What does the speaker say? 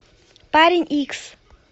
парень икс